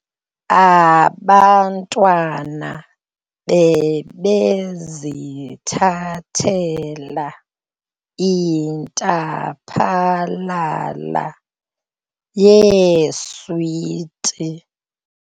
Abantwana bebezithathela intaphalala yeeswiti.